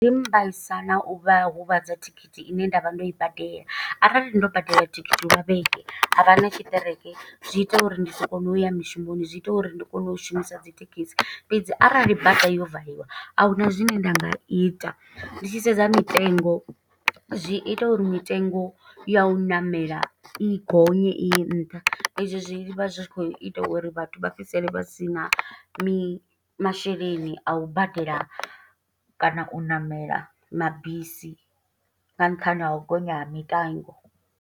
Zwi mbaisa na u vhahuvhadza thikhithi ine nda vha ndo i badela. Arali ndo badela thikhithi lwa vhege ha vha na tshiṱereke, zwi ita uri ndi si kone uya mishumoni. Zwi ita uri ndi kone u shumisa dzi thekhisi. Fhedzi arali bada yo valiwa a huna zwine nda nga ita, ndi tshi sedza mitengo, zwi ita uri mitengo ya u ṋamela i gonye iye nṱha. I zwi zwi vha zwi khou ita uri vhathu vha fhedzisele vha sina mi masheleni. A u badela kana u ṋamela mabisi nga nṱhani ha u gonya ha mitengo.